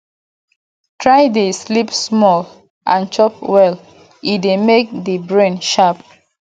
try de sleep small and chop well e de make di brain sharp